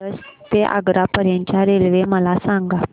मिरज ते आग्रा पर्यंत च्या रेल्वे मला सांगा